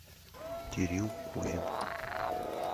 кирилл кузин